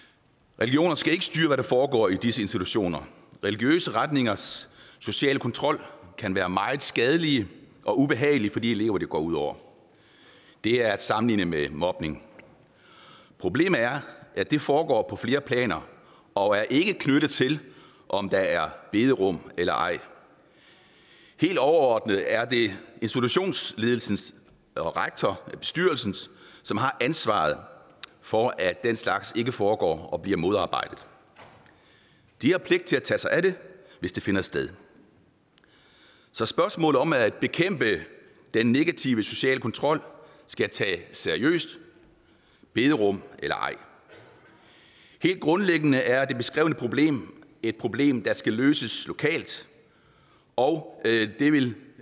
religioner skal ikke styre hvad der foregår i disse institutioner religiøse retningers sociale kontrol kan være meget skadelig og ubehagelig for de elever det går ud over det er at sammenligne med mobning problemet er at det foregår på flere planer og ikke er knyttet til om der er bederum eller ej helt overordnet er det institutionsledelsen rektor bestyrelsen som har ansvaret for at den slags ikke foregår og bliver modarbejdet de har pligt til at tage sig af det hvis det finder sted så spørgsmålet om at bekæmpe den negative sociale kontrol skal tages seriøst bederum eller ej helt grundlæggende er det beskrevne problem et problem der skal løses lokalt og det vil